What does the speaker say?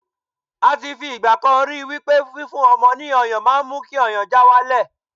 a ti fi igbakan ri wipe fi fún ọmọ ni ọyàn ma n mu ki ọyàn já walẹ